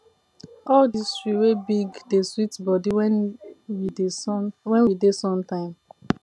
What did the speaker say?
all dese tree wey big dey sweet body when we dey sun when we dey sun time